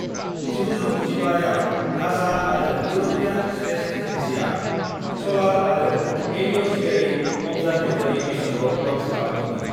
1995 आव नासा आरो European space एजेन्सिआ सलार आरो हेलिअस्फेरिक अब्जार्भेटरि मिसनखौ लन्च खालामदोंमोन।